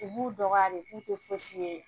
de b'u dɔgɔya de si ye.